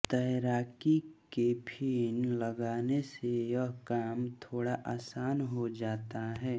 तैराकी के फ़िन लगाने से यह काम थोड़ा आसान हो जाता है